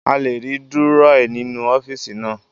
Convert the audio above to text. A lè rí Dúrọ́à nínú ọ́fíìsì naa